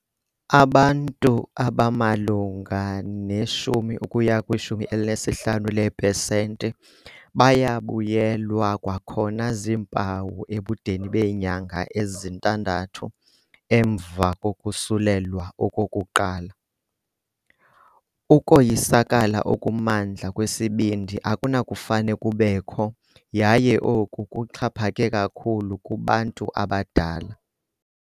Abantu abamalunga ne-10 ukuya kwi-15 leepesenti bayabuyelwa kwakhona ziimpawu ebudeni beenyanga ezintandathu emva kokusulelwa okokuqala. Ukoyisakala okumandla kwesibindi akunakufane kubekho yaye oku kuxhaphake kakhulu kubantu abadala.